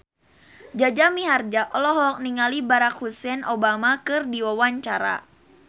Jaja Mihardja olohok ningali Barack Hussein Obama keur diwawancara